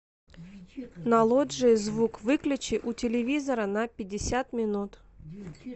на лоджии звук выключи у телевизора на пятьдесят минут